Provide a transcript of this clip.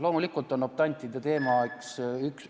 Loomulikult on optantide teema üks ...